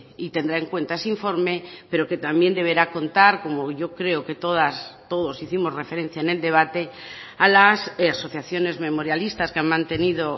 y tendrá en cuenta ese informe pero que también deberá contar como yo creo que todas todos hicimos referencia en el debate a las asociaciones memorialistas que han mantenido